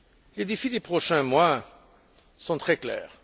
Les défis des prochains mois sont très clairs.